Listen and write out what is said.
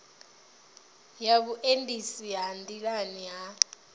ya vhuendisi ha nḓilani ha